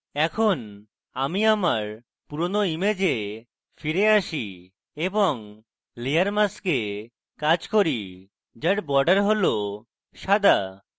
এখন আমি আমার পুরোনো image ফিরে আসি এবং layer mask কাজ করি যার border has সাদা